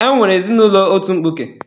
E nwere ezinụlọ otu mkpuke.